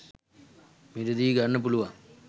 මිල දි ගන්න පුලුවන්.